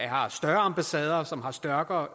har større ambassader og som har stærkere